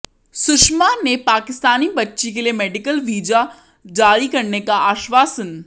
सुषमा ने पाकिस्तानी बच्ची के लिए मेडिकल वीजा जारी करने का आश्वासन